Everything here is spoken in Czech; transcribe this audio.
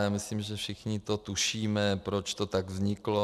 Ale myslím, že všichni to tušíme, proč to tak vzniklo.